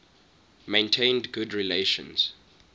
maintained good relations